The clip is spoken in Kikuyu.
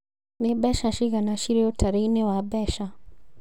Nĩ mbeca cigana cĩrĩ ũtari-inĩ wa mbeca